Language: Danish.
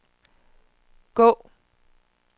gå